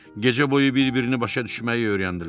Gecə boyu bir-birini başa düşməyi öyrəndilər.